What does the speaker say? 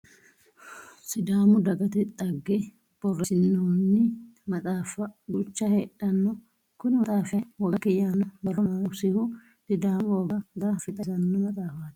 Sidaamu dagata xagge borreessinoyi maxaaffa duucha heedhano. Kuni maxaafi kayii woganke yaanno borro noosihu sidaamu woga gara fee xawisanno maxaafati.